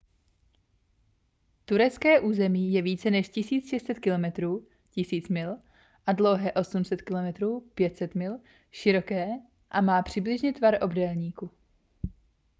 turecké území je více než 1 600 km 1 000 mil dlouhé a 800 km 500 mil široké a má přibližně tvar obdélníku